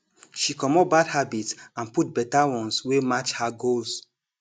she comot bad habits and put better ones wey match her goals